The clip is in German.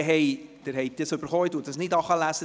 Sie haben den Ablauf erhalten, ich lese ihn nicht vor.